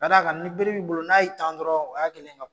Ka d'a kan ni bere bi bolo n'a ye tan dɔrɔn o y'a kelen ka